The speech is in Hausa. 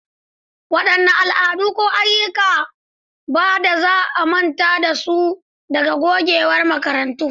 Wadanne al'adu ko ayyuka da ba za a manta da su ba daga gogewar makarantarku?